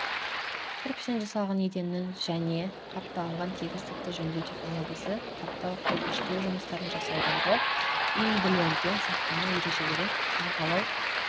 кірпіштен жасалынған еденнің және қапталынған тегістікті жөндеу технологиясы қаптау кірпіштеу жұмыстарын жасаудағы үйінділерден сақтану ережелері қаңқалау